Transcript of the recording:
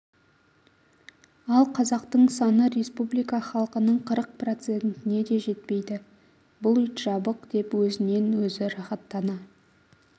ал қазақтың саны республика халқының қырық процентіне де жетпейді бұл ит жабық деп өзінен өзі рахаттана